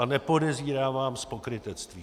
A nepodezírám vás z pokrytectví.